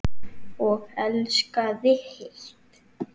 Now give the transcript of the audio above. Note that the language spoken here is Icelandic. Og elskaði heitt.